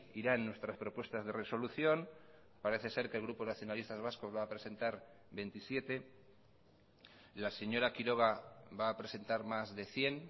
irán nuestras propuestas de resolución parece ser que el grupo nacionalistas vascos va a presentar veintisiete la señora quiroga va a presentar más de cien